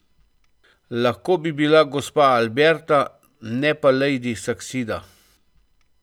Lahko bi bila gospa Alberta, ne pa lejdi Saksida.